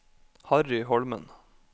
Harry Holmen